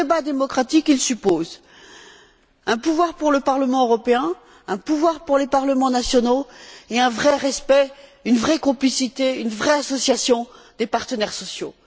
Et le débat démocratique, il suppose un pouvoir pour le Parlement européen, un pouvoir pour les parlements nationaux et un vrai respect, une vraie complicité, une vraie association des partenaires sociaux.